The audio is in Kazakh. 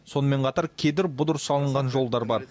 сонымен қатар кедір бұдыр салынған жолдар бар